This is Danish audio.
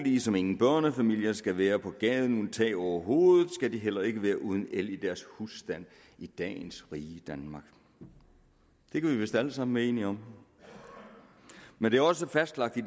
ligesom ingen børnefamilier skal være på gaden uden tag over hovedet skal de heller ikke være uden el i deres husstand i dagens rige danmark det kan vi vist alle sammen være enige om men det er også fastlagt i